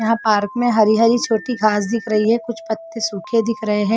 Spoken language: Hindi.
यहां पार्क में हरी हरी छोटी घास दिख रही है कुछ पत्ते सूखे दिख रहे हैं।